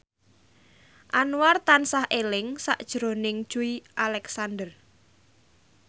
Anwar tansah eling sakjroning Joey Alexander